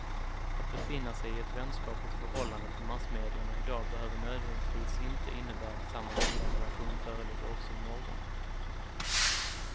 Att befinna sig i ett vänskapligt förhållande till massmedierna i dag behöver nödvändigtvis inte innebära att samma goda relation föreligger också i morgon.